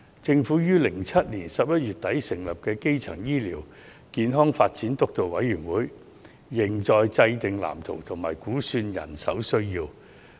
政府於2007年11月底成立的基層醫療健康發展督導委員會，仍在制訂藍圖和估算人手需要。